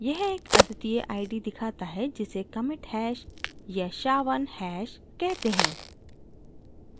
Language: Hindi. यह एक अद्वितीय id दिखाता है जिसे commit hash या sha1 hash कहते हैं